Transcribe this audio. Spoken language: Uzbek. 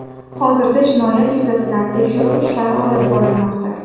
Hozirda jinoyat yuzasidan tekshiruv ishlari olib borilmoqda.